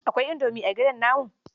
Aikwai Indomi a gidan namu?